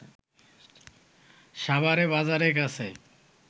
সাভারে বাজারের কাছে